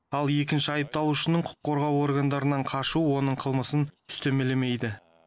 ал екінші айыпталушының құқық қорғау органдарынан қашуы оның қылмысын үстемелемейді